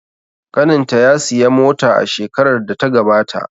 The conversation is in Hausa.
Ƙanin ta ya siya mota a shekarar da ta gabata.